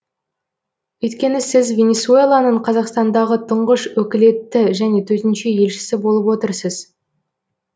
өйткені сіз венесуэланың қазақстандағы тұңғыш өкілетті және төтенше елшісі болып отырсыз